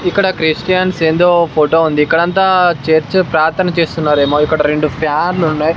ఇక్కడ క్రిస్టియన్స్ ఏందో ఫోటో ఉంది. ఇక్కడ అంతా చర్చ్ ప్రార్థన చేస్తున్నారేమో ఇక్కడ రెండు ఫ్యాన్ లు ఉన్నాయి.